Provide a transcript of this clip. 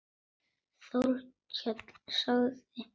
Þórkell sagði